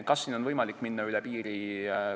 Kas on võimalik minna üle piiri?